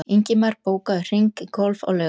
Ingimar, bókaðu hring í golf á laugardaginn.